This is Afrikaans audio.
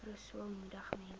rasool moedig mense